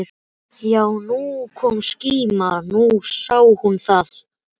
Já, nú kom skíma, nú sá hún það!